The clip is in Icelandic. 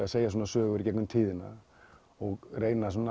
að segja svona sögur í gegnum tíðina og reyna